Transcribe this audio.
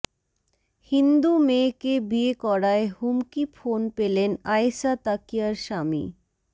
হিন্দু মেয়েকে বিয়ে করায় হুমকি ফোন পেলেন আয়েশা তাকিয়ার স্বামী